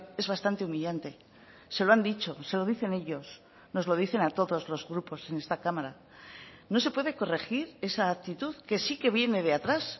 es bastante humillante se lo han dicho se lo dicen ellos nos lo dicen a todos los grupos en esta cámara no se puede corregir esa actitud que sí que viene de atrás